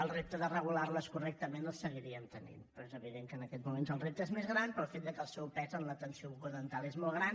el repte de regular les correctament els seguiríem tenint però és evident que en aquest moment el repte és més gran pel fet que el seu pes a l’atenció bucodental és molt gran